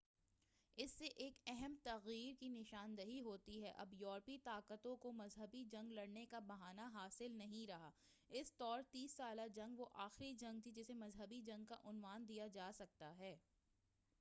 اس سے ایک اہم تغیُّر کی نشان دہی ہوئی اب یورپی طاقتوں کو مذہبی جنگ لڑنے کا بہانہ حاصل نہیں رہا اس طور تیس سالہ جنگ وہ آخری جنگ تھی جسے مذہبی جنگ کا عنوان دیا جا سکتا ہے